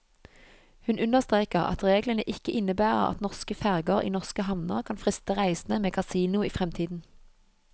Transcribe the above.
Hun understreker at reglene ikke innebærer at norske ferger i norske havner kan friste reisende med kasino i fremtiden.